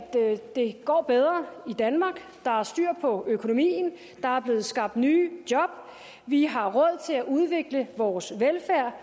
det går bedre i danmark der er styr på økonomien der er blevet skabt nye job vi har råd til at udvikle vores velfærd og